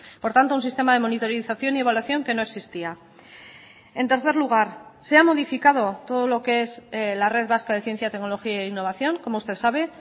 por tanto un sistema de monitorización y evaluación que no existía en tercer lugar se ha modificado todo lo que es la red vasca de ciencia tecnología e innovación como usted sabe